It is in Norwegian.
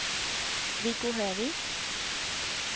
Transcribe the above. Viggo Høvik